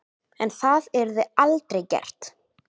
En það yrði aldrei gert.